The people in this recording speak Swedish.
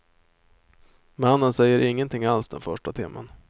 Mannen säger ingenting alls den första timmen.